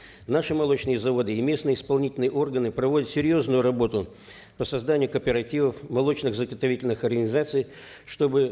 наши молочные заводы и местные исполнительные органы проводят серьезную работу по созданию кооперативов молочных заготовительных организаций чтобы